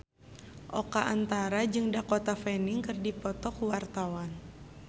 Oka Antara jeung Dakota Fanning keur dipoto ku wartawan